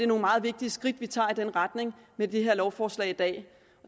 nogle meget væsentlige skridt vi tager i den retning med det her lovforslag i dag